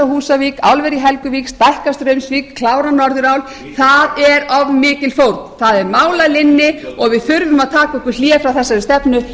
í húsavík álver í helguvík stækka straumsvík klára norðurál það er of mikil fórn það er mál að linni og við þurfum að taka okkur hlé frá þessari stefnu